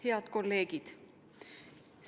Head kolleegid!